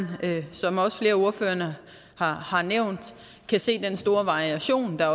som også flere ordførere har har nævnt kan se den store variation der